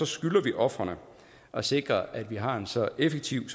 skylder vi ofrene at sikre at vi har en så effektiv